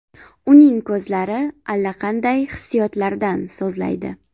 Uning ko‘zlari allaqanday hissiyotlardan so‘zlaydi.